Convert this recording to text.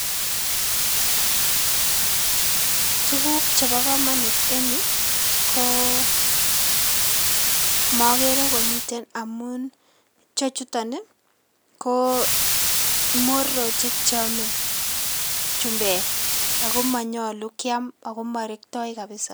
Tuguk chebo komonut en yu koo komokere komiten amun chechuton ko mororochik cheome chumbek ago morekto ako monyolu kiam kabisa.